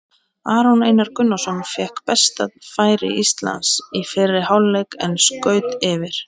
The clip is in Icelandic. Aron Einar Gunnarsson fékk besta færi Íslands í fyrri hálfleik en skaut yfir.